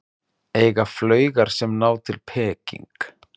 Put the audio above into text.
Eiga flaugar sem ná til Peking